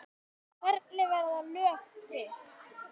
Hvernig verða lög til?